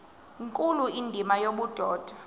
nkulu indima yobudoda